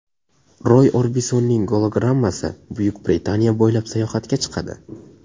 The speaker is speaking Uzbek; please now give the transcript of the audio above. Roy Orbisonning gologrammasi Buyuk Britaniya bo‘ylab sayohatga chiqadi.